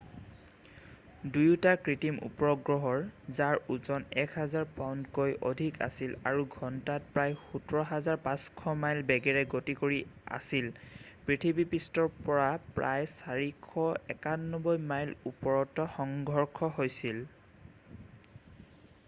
দুয়োটা কৃত্ৰিম উপগ্ৰহৰ যাৰ ওজন 1,000 পাউণ্ডতকৈ অধিক আছিল আৰু ঘণ্টাত প্ৰায় 17 500 মাইল বেগেৰে গতি কৰি আছিল পৃথিৱীপৃষ্ঠৰ পৰা প্ৰায় 491 মাইল ওপৰত সংঘৰ্ষ হৈছিল